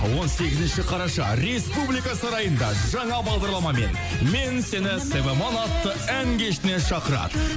он сегізінші қараша республика сарайында жаңа бағдарламамен мен сені севамон атты ән кешіне шақырады